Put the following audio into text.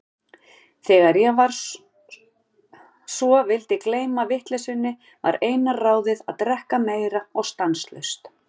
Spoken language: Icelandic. Þegar ég svo vildi gleyma vitleysunni, var eina ráðið að drekka meira og stanslaust.